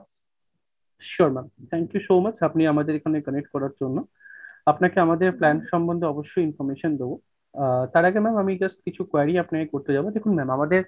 sure ma'am, thank you so much আপনি আমাদের এখানে connect করার জন্য আপনাকে আমাদের plan সমন্ধে অবশ্যই information দেবো আ তার আগে ma'am আমি just কিছু query আপনাকে করতে যাবো। দেখুন ma'am আমাদের,